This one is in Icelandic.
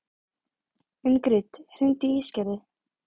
Ingrid, hringdu í Ísgerði.